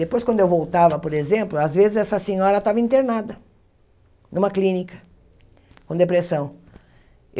Depois, quando eu voltava, por exemplo, às vezes essa senhora estava internada numa clínica, com depressão.